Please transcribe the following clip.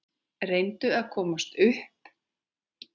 Reyna að komast upp.